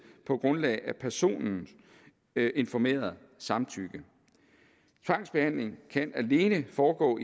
på grundlag af personens informerede samtykke tvangsbehandling kan alene foregå